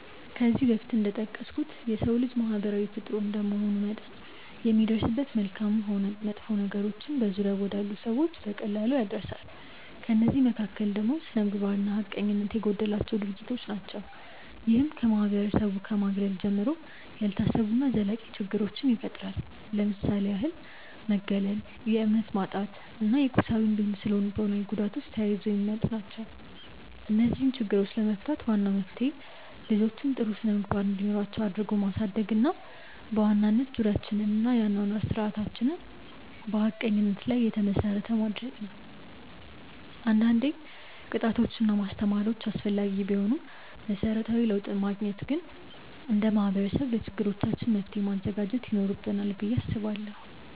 ከዚህ በፊት እንደጠቀስኩት የሰው ልጅ ማህበራዊ ፍጡር እንደመሆኑ መጠን የሚደርስበት መልካምም ሆን መጥፎ ነገሮች በዙሪያው ወዳሉ ሰዎች በቀላሉ ይዳረሳል። ከእነዚህ መካከል ደግሞ ስነምግባር እና ሀቀኝነት የጎደላቸው ድርጊቶች ናቸው። ይህም ከማህበረሰቡ ከማግለል ጀምሮ፣ ያልታሰቡ እና ዘላቂ ችግሮችን ይፈጥራል። ለምሳሌ ያህል መገለል፣ የእምነት ማጣት እና የቁሳዊ እንዲሁም ስነልቦናዊ ጉዳቶች ተያይዘው የሚመጡ ናቸው። እነዚህን ችግሮች ለመፍታት ዋናው መፍትሄ ልጆችን ጥሩ ስነምግባር እንዲኖራቸው አድርጎ ማሳደግ እና በዋናነት ዙሪያችንን እና የአኗኗር ስርዓታችንን በሀቀኝነት ላይ የተመሰረተ እንዲሆን ማድረግ ነው። አንዳንዴ ቅጣቶች እና ማስተማሪያዎች አስፈላጊ ቢሆኑም መሰረታዊ ለውጥ ለማግኘት ግን እንደ ማህበረሰብ ለችግሮቻችን መፍትሔ ማዘጋጀት ይኖርብናል ብዬ አስባለሁ።